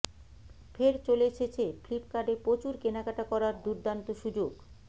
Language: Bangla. ফের চলে এসেছে ফ্লিপকার্টে প্রচুর কেনাকাটা করার দুর্দান্ত সুযোগ